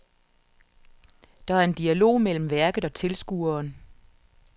Der er en dialog mellem værket og tilskueren.